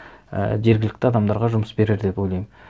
і жергілікті адамдарға жұмыс берер деп ойлаймын